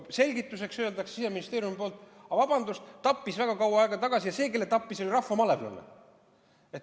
Selgituseks öeldakse Siseministeeriumist, et aga vabandust, ta tappis väga kaua aega tagasi ja see, kelle tappis, oli rahvamalevlane.